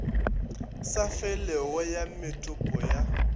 sa felego ya methopo ya